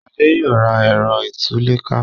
Shade yóò rà Ẹ̀rọ ìtúlẹ̀ká.